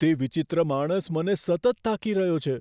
તે વિચિત્ર માણસ મને સતત તાકી રહ્યો છે.